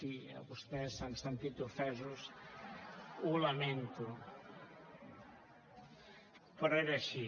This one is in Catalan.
si vostès s’han sentit ofesos ho lamento però era així